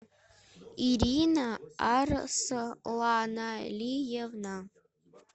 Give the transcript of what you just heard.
ирина арсланалиевна